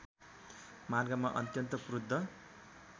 मार्गमा अत्यन्त क्रुद्ध